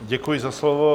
Děkuji za slovo.